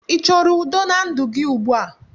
Ị choro udo na ndụ gị ugbua?